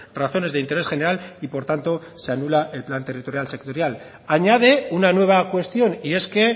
razones de interés general y por tanto se anula el plan territorial sectorial añade una nueva cuestión y es que